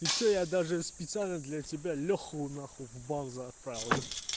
ты что я даже специально для тебя лёху нахуй в базу отправил ёпте